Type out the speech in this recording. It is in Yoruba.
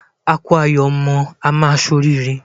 A kú ayọ̀ ọmọ, á ṣe oríire.